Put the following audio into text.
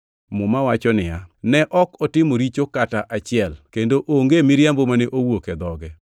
Muma wacho niya, “Ne ok otimo richo kata achiel, kendo onge miriambo mane owuok e dhoge.” + 2:22 \+xt Isa 53:9\+xt*